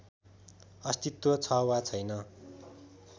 अस्तित्व छ वा छैन